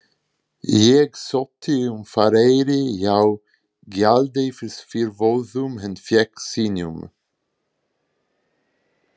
Ég sótti um farareyri hjá gjaldeyrisyfirvöldum en fékk synjun.